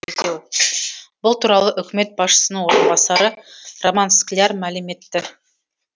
бұл туралы үкімет басшысының орынбасары роман скляр мәлім етті